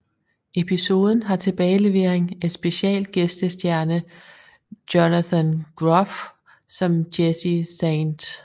Episoden har tilbagelevering af special gæstestjerne Jonathan Groff som Jesse St